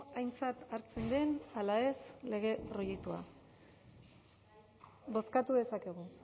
aintzat hartzen den ala ez lege proiektua bozkatu dezakegu